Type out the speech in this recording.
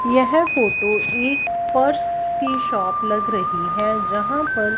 यह फोटो एक पर्स की शॉप लग रही है जहां पर--